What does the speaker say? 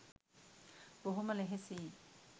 බොහොම ලෙහෙසියි